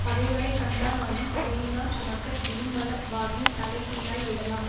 பகைவரை கண்டானாயின் தலையினாற் சுமக்க இறுமளவாகின் தலை கீழாய் விடலாம்